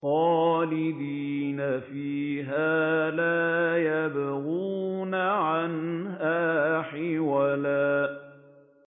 خَالِدِينَ فِيهَا لَا يَبْغُونَ عَنْهَا حِوَلًا